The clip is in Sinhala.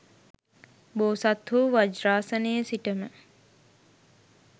බෝසත්හු වජ්‍රාසනයේ සිටම